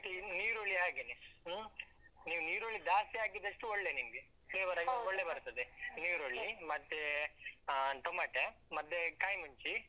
ಮತ್ತೆ ಇನ್ನು ಈರುಳ್ಳಿ ಹಾಗೇನೆ. ಹ್ಮ್ ನೀವ್ ನೀರುಳ್ಳಿ ಜಾಸ್ತಿ ಹಾಕಿದಷ್ಟು ಒಳ್ಳೆ ನಿಮ್ಗೆ. flavor ಬರ್ತದೆ, ನೀರುಳ್ಳಿ ಮತ್ತೆ ಅಹ್ ಟೊಮಟೆ ಮತ್ತೆ ಕಾಯಿ ಮುಂಚಿ.